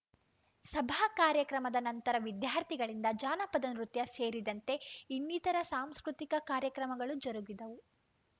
ಸಭಾ ಕಾರ್ಯಕ್ರಮದ ನಂತರ ವಿದ್ಯಾರ್ಥಿಗಳಿಂದ ಜಾನಪದ ನೃತ್ಯ ಸೇರಿದಂತೆ ಇನ್ನಿತರ ಸಾಂಸ್ಕೃತಿಕ ಕಾರ್ಯಕ್ರಮಗಳು ಜರುಗಿದವು